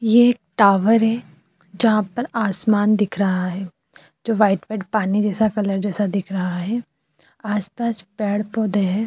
ये एक टावर है जहाँ पर आसमान दिख रहा है जो वाइट वाइट पानी जैसा कलर जैसा दिख रहा है आस-पास पेड़ पौधे है।